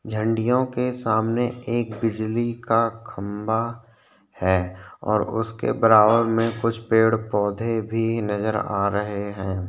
झंडियों के सामने एक बिजली का खम्बा है और उसके बराबर में कुछ पेड़-पौधे भी नज़र आ रहे है।